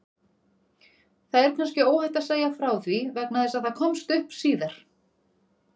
Það er kannski óhætt að segja frá því vegna þess að það komst upp síðar.